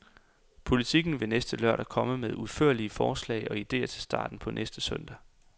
Politiken vil næste lørdag komme med udførlige forslag og ideer til starten på næste søndag.